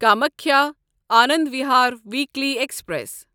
Kamakhya Anand Vihar weekly express